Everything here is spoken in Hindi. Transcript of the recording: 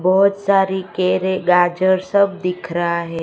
बोहोत सारी केरे गाजर सब दिखा रहा है।